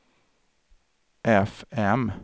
fm